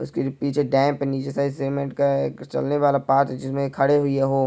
उसके पिछे डैम्प नीचे साइड सीमेंट का एक चलने वाला पाथ जिसमे खड़े हुए है वो--